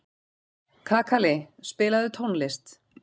Kakali, spilaðu tónlist.